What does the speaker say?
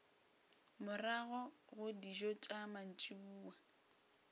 morago ga dijo tša mantšiboa